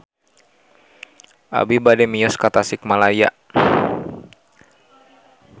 Abi bade mios ka Tasikmalaya